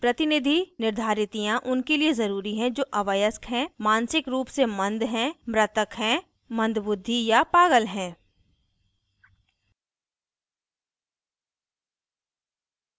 प्रतिनिधि निर्धारितियाँ उनके लिए ज़रूरी हैं जो अवयस्क हैं मानसिक रूप से मंद हैं मृतक हैं मंद बुद्धि या पागल हैं